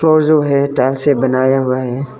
Floor जो है tile से बनाया हुआ है।